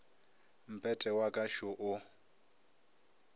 mpete wa ka šo o